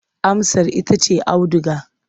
Amsar ita ce auduga.